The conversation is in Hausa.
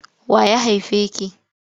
Wa ya haife ki?